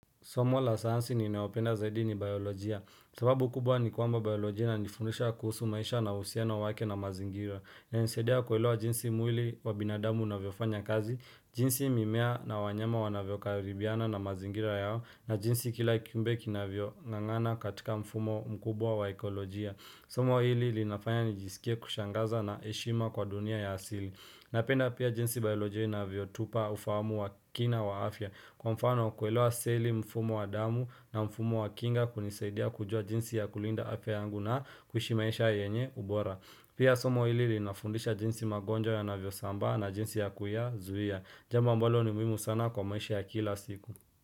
Somo la sayansi ninayopenda zaidi ni biolojia. Sababu kubwa ni kwamba biolojia inanifundisha kuhusu maisha na uhusiano wake na mazingira. Inanisaidia kuelewa jinsi mwili wa binadamu unavyofanya kazi, jinsi mimea na wanyama wanavyokaribiana na mazingira yao, na jinsi kila kiumbe kinavyong'ang'ana katika mfumo mkubwa wa ekolojia. Somo hili linafanya nijisikie kushangaza na heshima kwa dunia ya asili. Napenda pia jinsi biolojia inavyotupa ufahamu wa kina wa afya. Kwa mfano kuelewa seli, mfumo wa damu na mfumo wa kinga kunisaidia kujua jinsi ya kulinda afya yangu na kuishi maisha yenye ubora. Pia somo hili linafundisha jinsi magonjwa yanavyosambaa na jinsi ya kuyazuia. Jambo ambalo ni muhimu sana kwa maisha ya kila siku.